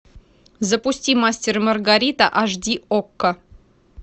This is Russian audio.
запусти мастер и маргарита аш ди окко